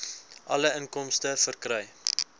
alle inkomste verkry